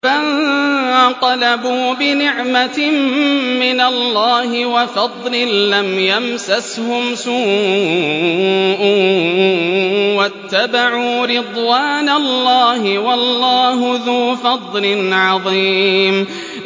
فَانقَلَبُوا بِنِعْمَةٍ مِّنَ اللَّهِ وَفَضْلٍ لَّمْ يَمْسَسْهُمْ سُوءٌ وَاتَّبَعُوا رِضْوَانَ اللَّهِ ۗ وَاللَّهُ ذُو فَضْلٍ عَظِيمٍ